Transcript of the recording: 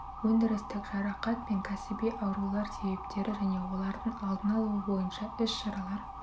өндірістік жарақат пен кәсіби аурулар себептері және де олардың алдын алуы бойынша іс-шаралар